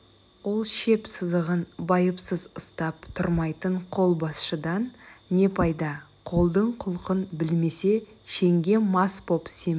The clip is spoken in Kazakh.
ол шеп сызығын байыпсыз ұстап тұрмайтын қолбасшыдан не пайда қолдың құлқын білмесе шенге мас боп семіріп